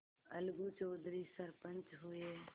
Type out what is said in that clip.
अलगू चौधरी सरपंच हुए